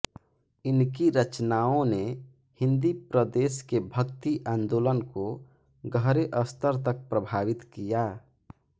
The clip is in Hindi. इनकी रचनाओं ने हिन्दी प्रदेश के भक्ति आंदोलन को गहरे स्तर तक प्रभावित किया